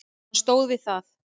Hann stóð við það.